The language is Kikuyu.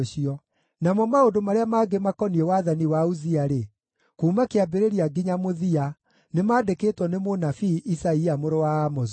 Namo maũndũ marĩa mangĩ makoniĩ wathani wa Uzia-rĩ, kuuma kĩambĩrĩria nginya mũthia, nĩmandĩkĩtwo nĩ mũnabii Isaia mũrũ wa Amozu.